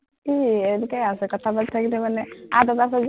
কি এনেকে আজে কথা পাতি থাকিলে মানে